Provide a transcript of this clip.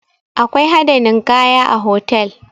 Akwai hada ninkaya a hotal